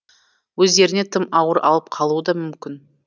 өздеріне тым ауыр алып қалуы да мүмкін